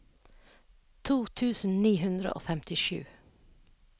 to tusen ni hundre og femtisju